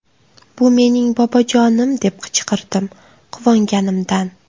Bu mening bobojonim deb qichqirdim, quvonganimdan.